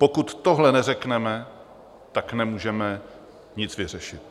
Pokud tohle neřekneme, tak nemůžeme nic vyřešit.